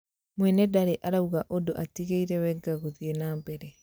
Mwene ndari arauga ũndũ atigeire Wenger gũthii na mbere